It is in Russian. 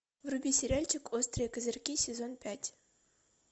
вруби сериальчик острые козырьки сезон пять